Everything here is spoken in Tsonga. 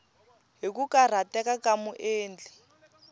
hi ku karhateka ka muendli